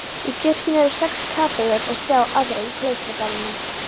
Í kirkjunni eru sex kapellur og þrjár aðrar í klausturgarðinum.